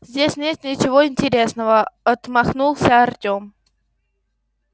здесь нет ничего интересного отмахнулся артем